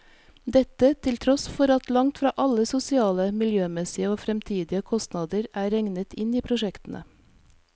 Dette til tross for at langt fra alle sosiale, miljømessige og fremtidige kostnader er regnet inn i prosjektene.